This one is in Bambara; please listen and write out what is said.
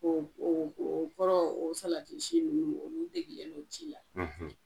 O o o kɔrɔ o salati si nunnu olu degilen don ci la .